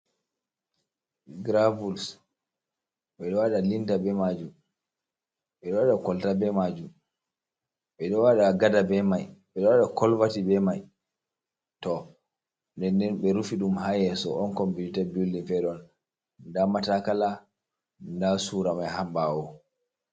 Gravouls ɓeɗo waɗa linta be majum, ɓedo waɗa kolta be majum, ɓedo waɗa gada be mai, ɓeɗo waɗa colverti be mai, to, den den ɓe rufi ɗum ha yasso’on on complited bildin fere on, nda matakala, nda sura mai ha ɓawo.